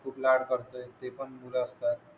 खूप लाड करते ते पण मुल असतात